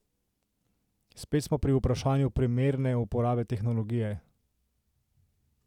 Spet smo pri vprašanju primerne uporabe tehnologije.